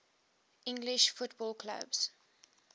english football clubs